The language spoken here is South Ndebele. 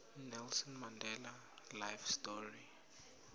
nelson mandelas life story